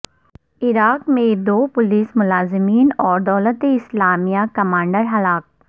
عراق میںدو پولیس ملازمین اور دولت اسلامیہ کمانڈر ہلاک